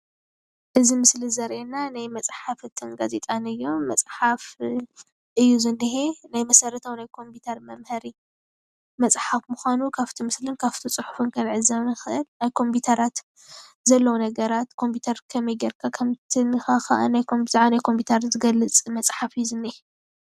እዚ ምስሊ ዘርእየና ናይ መፅሓፍትን ጋዜጣን እዩ፡፡ መፅሓፍ እዩ ዝንሄ፡፡ ናይ መሰረታዊ ናይ ኮምፒዩተር መምሃሪ መፅሓፍ ምዃኑ ካብቲ ምስሊ ካብቲ ፅሑፉን ክንዕዘብ ንኽእል፡፡ ናይ ኮምፒዩተራት ዘለዎ ነገራት ናይ ኮምፒዩተር ከመይ ገይርካ ከም እትነክእን ብዛዕባ ናይ ኮምፒዩተር ዝገልፅ መፅሓፍ እዩ ዝኒአ፡፡